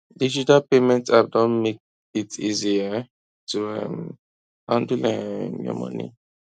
digital payment app don make it easy um to um handle um your money